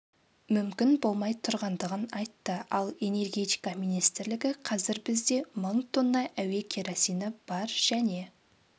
мүмкін болмай тұрғандығын айтты ал энергетика министрлігі қазір бізде мың тонна әуе керосині бар және